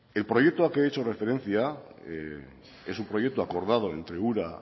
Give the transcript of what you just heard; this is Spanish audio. el proyecto al que he hecho referencia es un proyecto acordado entre ura